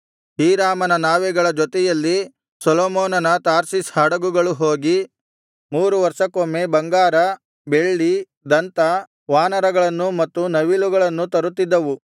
ಹೀರಾಮನ ನಾವೆಗಳ ಜೊತೆಯಲ್ಲಿ ಸೊಲೊಮೋನನ ತಾರ್ಷೀಷ್ ಹಡಗುಗಳು ಹೋಗಿ ಮೂರು ವರ್ಷಕ್ಕೊಮ್ಮೆ ಬಂಗಾರ ಬೆಳ್ಳಿ ದಂತ ವಾನರಗಳನ್ನು ಮತ್ತು ನವಿಲುಗಳನ್ನೂ ತರುತ್ತಿದ್ದವು